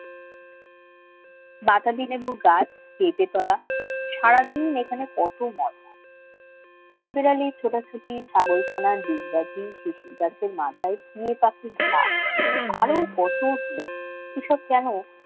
বাতাবি লেবুর গাছ পেঁপে তলা সারাদিন এখানে কত মজা কাঠবেড়ালির ছোটাছুটি ছাগলছানা ডিগবাজি শিশি গাছের মাথায় ফিঙে পাখির ঝাঁক আরো কতকি এইসব কেন